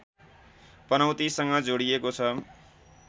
पनौतीसँग जोडिएको छ